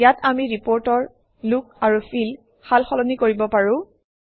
ইয়াত আমি ৰিপৰ্টৰ লুক আৰু ফিল সাল সলনি কৰিব পাৰোঁ